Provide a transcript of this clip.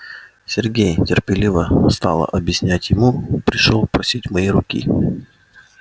сергей терпеливо стала объяснять ему пришёл просить моей руки